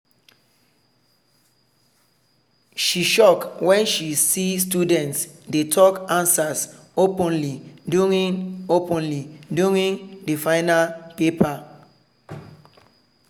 she shock when she see students dey talk answers openly during openly during the final paper.